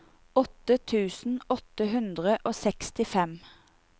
åtte tusen åtte hundre og sekstifem